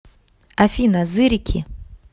афина зырики